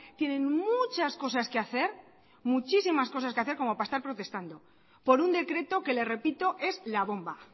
tienen muchas cosas que hacer muchísimas cosas que hacer como para estar protestando por un decreto que le repito es la bomba